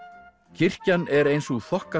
kirkjan er ein sú